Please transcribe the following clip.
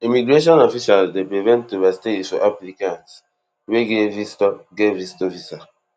immigration officials dey prevent overstays for applicants wey get visitor get visitor visa